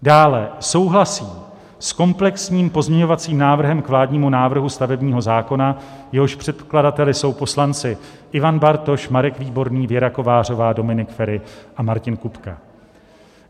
Dále souhlasí s komplexním pozměňovacím návrhem k vládnímu návrhu stavebního zákona, jehož předkladateli jsou poslanci Ivan Bartoš, Marek Výborný, Věra Kovářová, Dominik Feri a Martin Kupka.